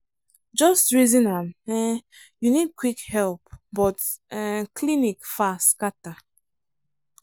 just reason am um — you need quick help but um clinic far scatter.